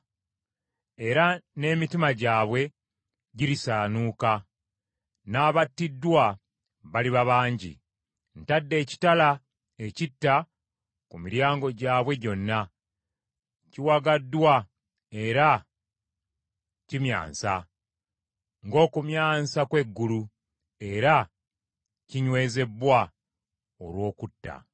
era n’emitima gyabwe girisaanuuka, n’abattiddwa baliba bangi. Ntadde ekitala ekitta ku miryango gyabwe gyonna. Kiwagaddwa era kimyansa ng’okumyansa kw’eggulu era kinywezebbwa olw’okutta.